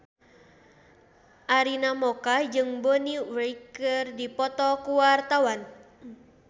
Arina Mocca jeung Bonnie Wright keur dipoto ku wartawan